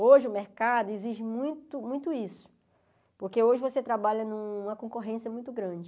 Hoje o mercado exige muito muito isso, porque hoje você trabalha em uma concorrência muito grande.